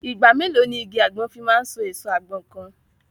Ìgbà mélòó ni igi àgbọn fi máa so èso àgbọn kan?